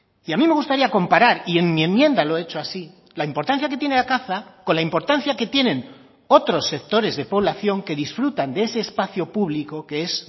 y a mí me gustaría comparar y en mi enmienda lo he hecho así la importancia que tiene la caza con la importancia que tienen otros sectores de población que disfrutan de ese espacio público que es